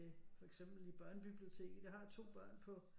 For eksempel i børnebiblioteket jeg har 2 børn på